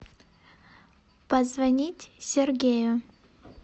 позвонить сергею